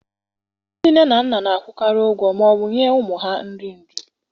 Ndị nne na nna na-akwụkarị ụgwọ ma ọ bụ nye ụmụ ha nri nri.